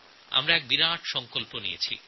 আমরা বড় একটা দায়িত্ব নিয়েছি